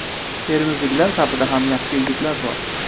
Termizliklar safida ham yaxshi yigitlar bor.